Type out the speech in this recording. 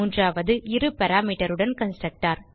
மூன்றாவது இரு parameterஉடன்Constructor